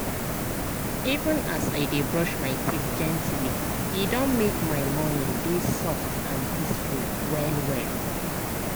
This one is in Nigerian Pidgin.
even as i dey brush my teeth gently e don make my morning dey soft and peaceful well-well.